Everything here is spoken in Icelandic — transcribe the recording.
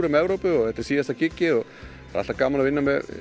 Evrópu og þetta er síðasta giggið og það er alltaf gaman að vinna með